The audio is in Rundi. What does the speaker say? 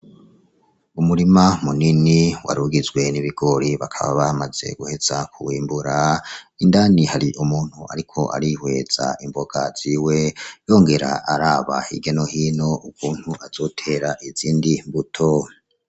Umurima munini warugizwe n'ibigori bakaba baramaze guheza kuwimbura, indani hari umuntu ariko arihweza imboga ziwe yongera araba hirya no hino ukuntu azotera izindi mbuto.